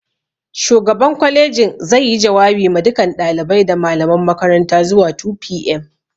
Shugaban kwalejin zai yi jawabi ma dukan ɗalibai da malaman makaranta zuwa 2pm